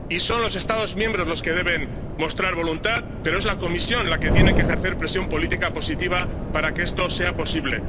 Y son los Estados miembros los que deben mostrar voluntad, pero es la Comisión la que tiene que ejercer presión política positiva para que esto sea posible.